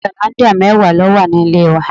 Pali hollandia mẹwa ló wà nílé wa.